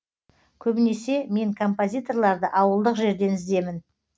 көбінесе мен компазиторларды ауылдық жерден іздемін